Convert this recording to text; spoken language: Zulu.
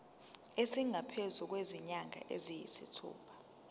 esingaphezu kwezinyanga eziyisithupha